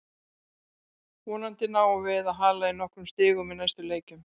Vonandi náum við að hala inn nokkrum stigum í næstu leikjum.